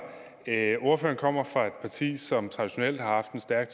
ordføreren kommer fra et parti som traditionelt har haft en stærk